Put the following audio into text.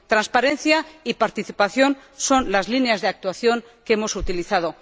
Transparencia y participación son las líneas de actuación que hemos utilizado.